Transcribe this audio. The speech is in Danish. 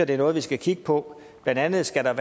er noget vi skal kigge på blandt andet er der